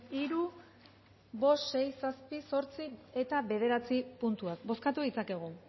hiru bost sei zazpi zortzi eta bederatzi puntuak bozkatu ditzakegu